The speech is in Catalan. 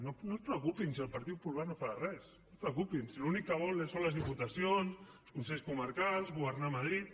no es preocupin si el partit popular no farà res no es preocupin si l’únic que vol són les diputacions els consells comarcals governar a madrid